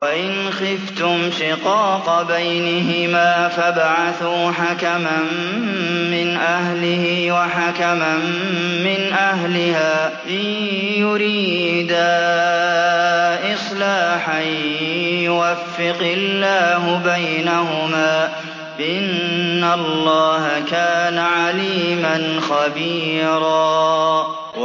وَإِنْ خِفْتُمْ شِقَاقَ بَيْنِهِمَا فَابْعَثُوا حَكَمًا مِّنْ أَهْلِهِ وَحَكَمًا مِّنْ أَهْلِهَا إِن يُرِيدَا إِصْلَاحًا يُوَفِّقِ اللَّهُ بَيْنَهُمَا ۗ إِنَّ اللَّهَ كَانَ عَلِيمًا خَبِيرًا